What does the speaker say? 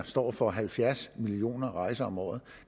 står for halvfjerds millioner rejser om året